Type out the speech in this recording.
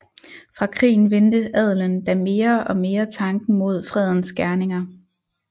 Fra krigen vendte adelen da mere og mere tanken mod fredens gerninger